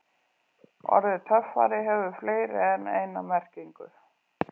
Orðið töffari hefur fleiri en eina merkingu.